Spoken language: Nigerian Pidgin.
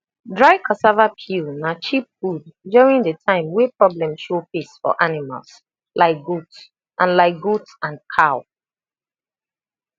dry cassava peel na cheap food during de time way problem show face for animals like goat and like goat and cow